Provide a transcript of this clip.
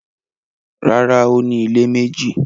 Rárá, ó ní ilé méjì